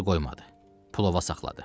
Hacı qoymadı, pul ova saxladı.